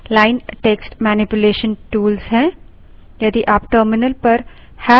यह सारे command line text manipulation tools हैं